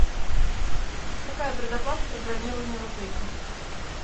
какая предоплата при бронировании в отеле